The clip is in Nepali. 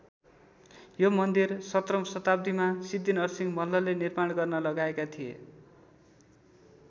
यो मन्दिर सत्रौं सताब्दीमा सिद्धिनरसिंह मल्लले निर्माण गर्न लगाएका थिए।